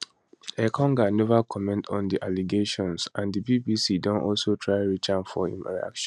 engonga neva comment on di allegations and di bbc don also try reach am for im reaction